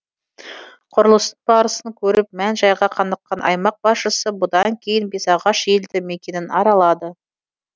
құрылыстың барысын көріп мән жайға қаныққан аймақ басшысы бұдан кейін бесағаш елді мекенін аралады